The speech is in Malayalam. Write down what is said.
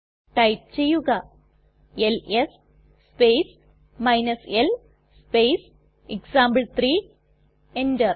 ടൈപ്പ് ചെയ്യുക LS space l space example enter